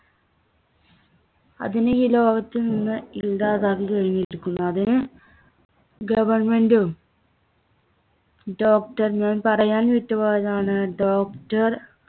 അതിനെ ഈ ലോകത്തിൽനിന്ന് ഇല്ലാതാക്കി കഴിഞ്ഞിരിക്കുന്നു. അതിനെ government ഉം doctor നും പറയാൻ വിട്ടുപോയതാണ് doctor